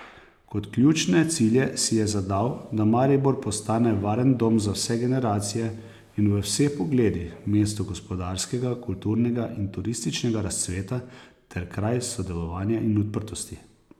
Kot ključne cilje si je zadal, da Maribor postane varen dom za vse generacije in v vseh pogledih, mesto gospodarskega, kulturnega in turističnega razcveta ter kraj sodelovanja in odprtosti.